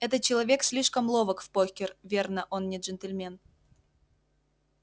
этот человек слишком ловок в покер верно он не джентльмен